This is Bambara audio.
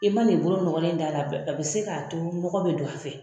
I man'i bolo nɔgɔlen d'a la a bɛ se k'a to mɔgɔ bɛ don a fɛ.